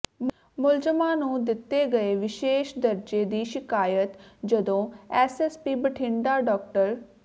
ਮੁਲਜ਼ਮਾਂ ਨੂੰ ਦਿੱਤੇ ਗਏ ਵਿਸ਼ੇਸ਼ ਦਰਜੇ ਦੀ ਸ਼ਿਕਾਇਤ ਜਦੋਂ ਐਸਐਸਪੀ ਬਠਿੰਡਾ ਡਾ